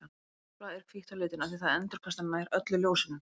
Hvítt blað er hvítt á litinn af því að það endurkastar nær öllu ljósinu.